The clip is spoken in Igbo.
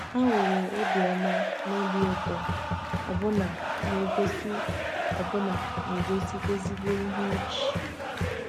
Ha nwere obiọma na obi ụtọ, ọbụna na-egosi ọbụna na-egosi ezigbo ihe ọchị.